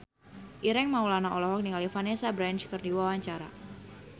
Ireng Maulana olohok ningali Vanessa Branch keur diwawancara